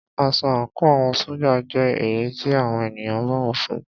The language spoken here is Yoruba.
Aṣọ àńkò àwọn ṣójà jẹ́ èyí tí àwọn ènìyàn bọ̀wọ̀ fún ún.